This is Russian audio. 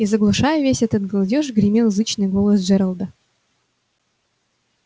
и заглушая весь этот галдёж гремел зычный голос джералда